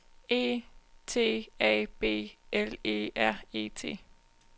E T A B L E R E T